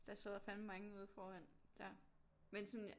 Der sidder fandme mange ude foran der men sådan